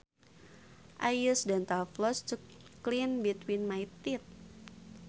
I use dental floss to clean between my teeth